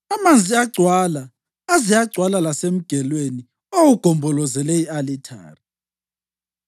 Amanzi agcwala aze agcwala lasemgelweni owawugombolozele i-alithari.